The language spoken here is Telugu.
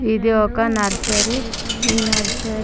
ఇది ఒక నర్సరీ . ఈ నర్సరీ --